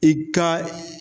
I ka